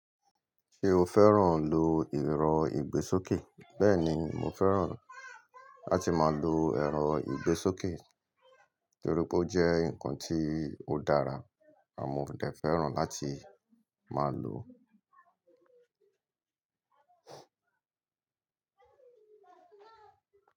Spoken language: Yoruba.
Ṣé o fẹ́ràn lo ẹ̀rọ ìgbésókè? Bẹ́ẹ̀ni, mo fẹ́ràn láti máa lo ẹ̀rọ ìgbésókè torí pé ó jẹ́ nǹkan tí ó dára àmọ́ mo dẹ̀ fẹ́ràn láti máa lo.